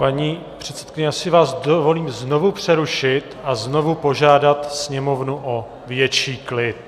Paní předsedkyně, já si vás dovolím znovu přerušit a znovu požádat sněmovnu o větší klid.